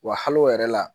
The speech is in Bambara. Wa hali o yɛrɛ la